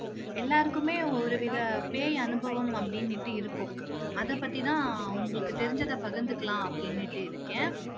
எல்லாருக்குமே ஒரு வித பேய் அனுபவம் அப்படினுட்டு இருக்கும் அதை பத்தி தான் உங்களுக்கு தெரிஞ்சத பகிர்ந்துக்கலாம் அப்படினுட்டு இருக்கேன்